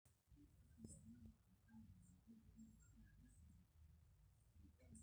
etejo olmalimui kitok meidimayu ina teneitu eyim enkerai entemata